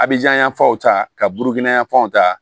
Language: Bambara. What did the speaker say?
Abijan yan fanw ta ka burukina yanfanw ta